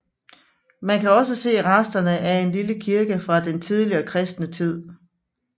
Man kan også se resterne af en lille kirke fra den tidligste kristne tid